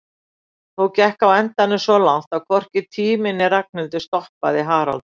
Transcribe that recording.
Þó gekk á endanum svo langt að hvorki tími né Ragnhildur stoppaði Harald.